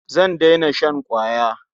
Zan daina shan ƙwaya.